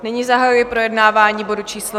Nyní zahajuji projednávání bodu číslo